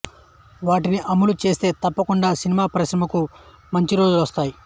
వాటిని అమలు చేస్తే తప్పకుండా సినిమా పరిశ్రమకు మంచి రోజులొస్తాయి